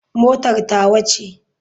Motar tawa ce.